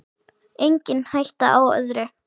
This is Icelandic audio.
Engin hætta á öðru!